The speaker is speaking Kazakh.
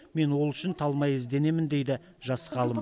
мен ол үшін талмай ізденемін дейді жас ғалым